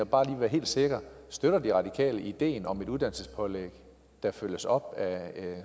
bare lige være helt sikker støtter de radikale ideen om et uddannelsespålæg der følges op af